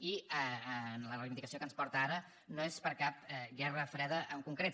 i la reivindicació que ens porta ara no és per cap guerra freda en concret